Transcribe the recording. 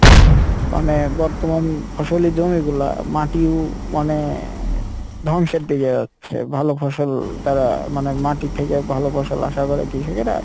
মানে বর্তমান ফসল এর জমি গুলা মাটিউ মানে ধ্বংসের দিকে যাচ্ছে ভালো ফসল তারা মানে মাটি থেকে ভালো ফসল আশা করে কৃষকেরা,